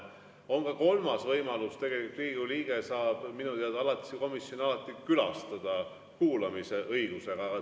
On ka kolmas võimalus tegelikult: Riigikogu liige saab minu teada alatist komisjoni alati külastada kuulamisõigusega.